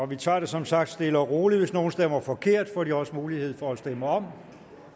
vi tager det som sagt stille og roligt hvis nogen stemmer forkert får de også mulighed for at stemme om